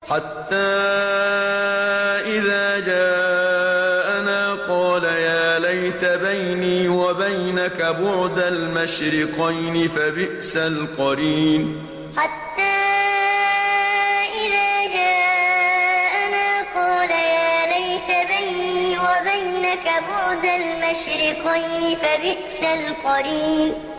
حَتَّىٰ إِذَا جَاءَنَا قَالَ يَا لَيْتَ بَيْنِي وَبَيْنَكَ بُعْدَ الْمَشْرِقَيْنِ فَبِئْسَ الْقَرِينُ حَتَّىٰ إِذَا جَاءَنَا قَالَ يَا لَيْتَ بَيْنِي وَبَيْنَكَ بُعْدَ الْمَشْرِقَيْنِ فَبِئْسَ الْقَرِينُ